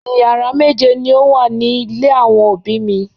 Ìyàrá méje ni ó wà ní ilé àwọn òbí mi.